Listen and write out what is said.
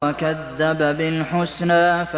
وَكَذَّبَ بِالْحُسْنَىٰ